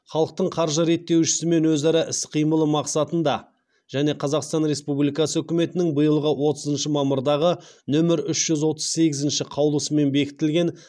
халықтың қаржы реттеушісімен өзара іс қимылы мақсатында және қазақстан республикасы үкіметінің биылғы отызыншы мамырдағы нөмірі үш жүз отыз сегізінші қаулысымен бекітілген